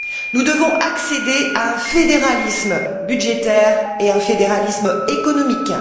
Nous devons accéder à un fédéralisme budgétaire et à un fédéralisme économique.